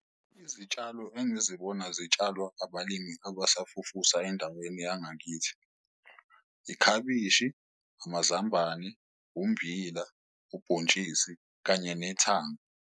Izitshalo engizibona zitshalwa abalimi abasafufusa endaweni yangakithi, ikhabishi, amazambane, umbila, ubhontshisi kanye nethanga.